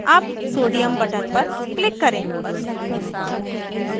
अब sodium na button पर click करें